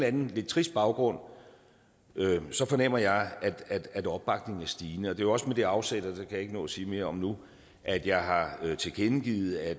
anden lidt trist baggrund fornemmer jeg at opbakningen er stigende det er jo også med det afsæt og det jeg ikke nå at sige mere om nu at jeg har tilkendegivet at